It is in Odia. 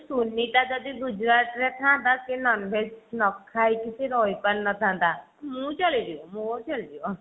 ସୁନିତା ଯଦି ଗୁଜରାଟ ରେ ଥାଆନ୍ତା ସେ non veg ନଖାଇକି ସେ ରହି ପାରିନଥାନ୍ତା ମୁଁ ଚଲେଇଦେବି ମୋର ଚଳିଯିବ।